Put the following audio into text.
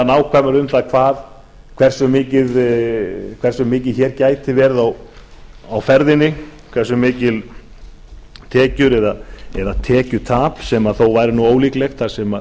nákvæmar um það hversu mikið hér gæti verið á ferðinni hversu miklar tekjur eða tekjutap sem þó væri nú ólíklegt þar sem